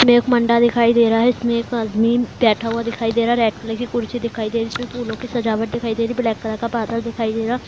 इसमें एक दिखाई दे रहा है इसमें एक आदमी बैठा हुआ दिखाई दे रहा है रेड कलर की कुर्सी दिखाई दे रही है इसमें फूलों की सजवाट दिखाई दे रही है ब्लैक कलर का बादल दिखाई दे रहा।